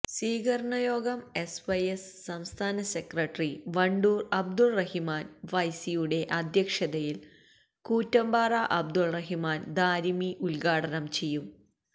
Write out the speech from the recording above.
സ്വീകരണയോഗം S Y S സംസ്ഥാന secretary Wandoor Abdurahiman ഫൈസിയുടെ അധ്യക്ഷതയില് കൂറ്റമ്പാറ അബ്ദുറഹിമാന് ദാരിമി ഉദ്ഘാടനം ചെയ്യും